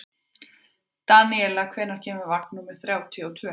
Daníela, hvenær kemur vagn númer þrjátíu og tvö?